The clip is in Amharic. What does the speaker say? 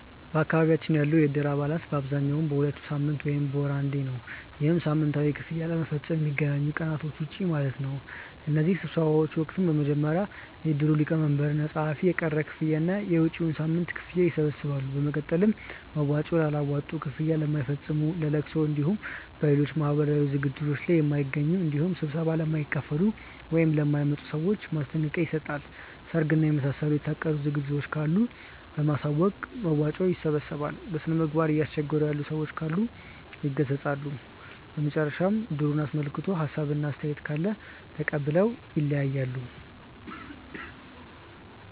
በአካባቢያችን ያሉ የእድር አባላት በአብዛኛው በሁለት ሳምንት ወይም በወር አንዴ ነው። ይህም ሳምንታዊ ክፍያ ለመፈፀም ከሚገናኙባቸው ቀናቶች ውጪ ማለት ነው። በእነዚህ ስብሰባዎች ወቅትም በመጀመሪያ የእድሩ ሊቀመንበር እና ፀሀፊዎች የቀረ ክፍያ እና የመጪዉን ሳምንት ክፍያ ይሰበስባሉ። በመቀጠል መዋጮ ላላዋጡ፣ ክፍያ ለማይፈፅሙ፣ በለቅሶ እንዲሁም በሌሎች ማህበራዊ ዝግጅቶት ላይ ለማይገኙ እንዲሁም ስብሰባ ለማይካፈሉ ( ለማይመጡ) ሰዎች ማስጠንቀቂያ ይሰጣል። ሰርግ እና የመሳሰሉ የታቀዱ ዝግጅቶች ካሉ በማሳወቅ መዋጮ ያሰባስባሉ። በስነምግባር እያስቸገሩ ያሉ ሰዎች ካሉ ይገሰፃሉ። በመጨረሻም እድሩን አስመልክቶ ሀሳብ እና አስተያየት ካለ ተቀብለው ይለያያሉ።